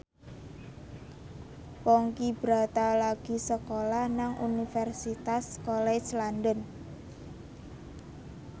Ponky Brata lagi sekolah nang Universitas College London